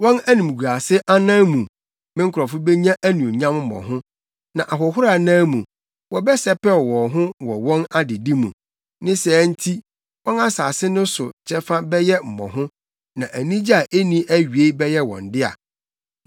Wɔn animguase anan mu me nkurɔfo benya anuonyam mmɔho, na ahohora anan mu wɔbɛsɛpɛw wɔn ho wɔ wɔn adedi mu; ne saa nti wɔn asase no so kyɛfa bɛyɛ mmɔho, na anigye a enni awiei bɛyɛ wɔn dea.